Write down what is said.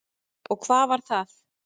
Og hvað var það?